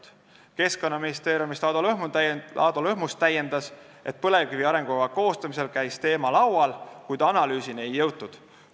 Ado Lõhmus Keskkonnaministeeriumist täiendas, et põlevkivi arengukava koostamisel oli teema laual, kuid analüüsini ei jõutud.